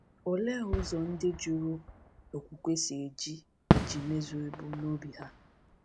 Olee ụzọ ndị jụrụ okwukwe si eji iji mezuo ebumnobi ha?